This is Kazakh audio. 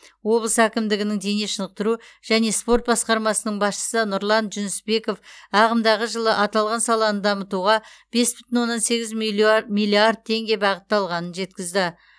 облыс әкімдігінің дене шынықтыру және спорт басқармасының басшысы нұрлан жүнісбеков ағымдағы жылы аталған саланы дамытуға бес бүтін оннан сегіз миллиард теңге бағытталғанын жеткізді